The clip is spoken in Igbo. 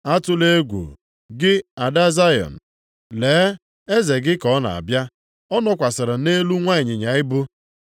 “Atụla egwu, gị ada Zayọn! Lee, eze gị ka ọ na-abịa. Ọ nọkwasịrị nʼelu nwa ịnyịnya ibu.” + 12:15 \+xt Zek 9:9\+xt*